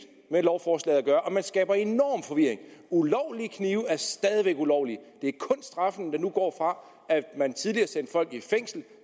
med lovforslaget at gøre og man skaber enorm forvirring ulovlige knive er stadig væk ulovlige det er kun straffen der nu går fra at man tidligere sendte folk i fængsel